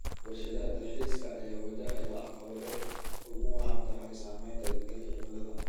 Warshadaha dalxiiska ayaa wajahaya caqabado ay ugu wacan tahay saameynta isbedelka cimilada.